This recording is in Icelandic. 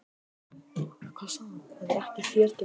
Læknisfrúin hans Jónasar, ó, ég verð alsæl við tilhugsunina